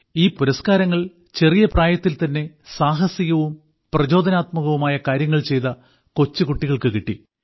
ഈ പുരസ്കാരങ്ങൾ ചെറിയ പ്രായത്തിൽതന്നെ സാഹസികവും പ്രചോദനാത്മകവുമായ കാര്യങ്ങൾ ചെയ്ത കൊച്ചുകുട്ടികൾക്കു കിട്ടി